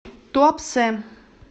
туапсе